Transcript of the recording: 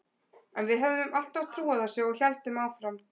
En við höfðum alltaf trú á þessu og héldum áfram.